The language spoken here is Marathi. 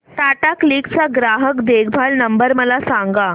टाटा क्लिक चा ग्राहक देखभाल नंबर मला सांगा